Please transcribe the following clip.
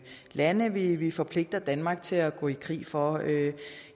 lande vi vi forpligter danmark til at gå i krig for